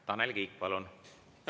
Tanel Kiik, palun!